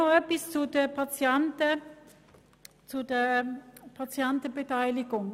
Noch ein Wort zur Patientenbeteiligung.